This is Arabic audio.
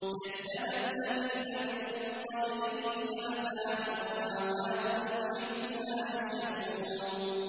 كَذَّبَ الَّذِينَ مِن قَبْلِهِمْ فَأَتَاهُمُ الْعَذَابُ مِنْ حَيْثُ لَا يَشْعُرُونَ